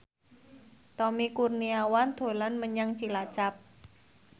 Tommy Kurniawan dolan menyang Cilacap